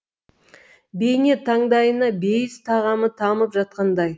бейне таңдайына бейіс тағамы тамып жатқандай